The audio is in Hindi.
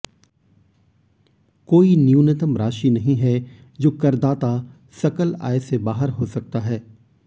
कोई न्यूनतम राशि नहीं है जो करदाता सकल आय से बाहर हो सकता है